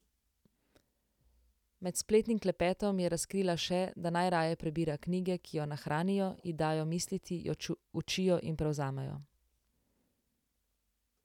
Med spletnim klepetom je razkrila še, da najraje prebira knjige, ki jo nahranijo, ji dajo misliti, jo učijo in prevzamejo.